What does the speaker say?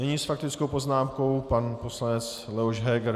Nyní s faktickou poznámkou pan poslanec Leoš Heger.